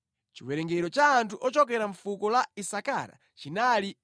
Chiwerengero cha anthu ochokera mʼfuko la Isakara chinali 54,400.